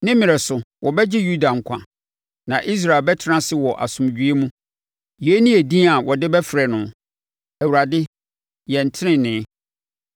Ne mmerɛ so, wɔbɛgye Yuda nkwa na Israel bɛtena ase wɔ asomdwoeɛ mu. Yei ne edin a wɔde bɛfrɛ no: Awurade Yɛn Tenenee.